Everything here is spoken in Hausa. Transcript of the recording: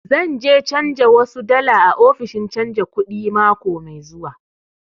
Zan je canja wasu dala a ofishin canja kuɗi mako mai zuwa